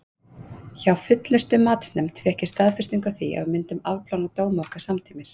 Hjá Fullnustumatsnefnd fékk ég staðfestingu á því að við myndum afplána dóma okkar samtímis.